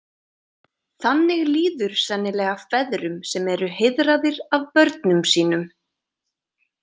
Þannig líður sennilega feðrum sem eru heiðraðir af börnum sínum.